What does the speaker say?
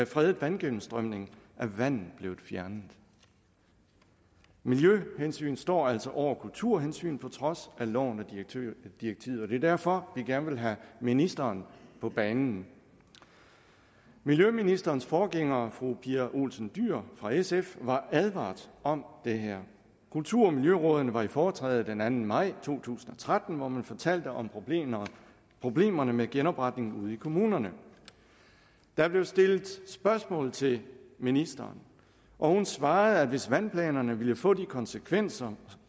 fredet vandgennemstrømningen er vandet blevet fjernet miljøhensyn står altså over kulturhensyn på trods af loven og direktivet og det er derfor vi gerne vil have ministeren på banen miljøministerens forgænger fru pia olsen dyhr fra sf var advaret om det her kulturmiljørådene var i foretræde den anden maj to tusind og tretten hvor man fortalte om problemerne problemerne med genopretning ude i kommunerne der blev stillet spørgsmål til ministeren og hun svarede at hvis vandplanerne ville få de konsekvenser